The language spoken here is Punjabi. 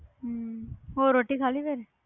ਹੂੰ ਹੋਰ ਰੋਟੀ ਖਾਲੀ